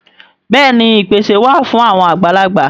Bẹ́ẹ̀ni ìpèsè wà fún àwọn àgbàlagbà